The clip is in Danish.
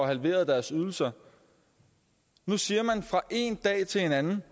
halveret deres ydelser nu siger man fra ene dag til den anden